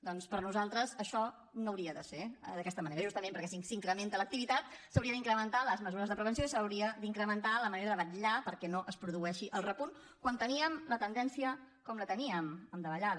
doncs per nosaltres això no hauria de ser d’aquesta manera justament perquè si s’incrementa l’activitat s’haurien d’incrementar les mesures de prevenció i s’hauria d’incrementar la manera de vetllar perquè no es produeixi el repunt quan teníem la tendència com la teníem en davallada